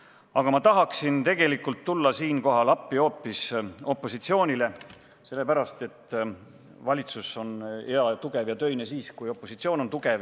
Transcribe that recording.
Aga ma tahaksin tegelikult tulla siinkohal appi hoopis opositsioonile, sellepärast et valitsus on hea, tugev ja töine siis, kui opositsioon on tugev.